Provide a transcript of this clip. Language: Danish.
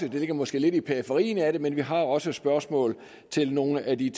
ligger måske lidt i periferien af det men vi har også spørgsmål til nogle af de